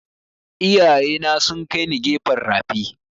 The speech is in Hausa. Iyaye na sun kai ni gefen rafi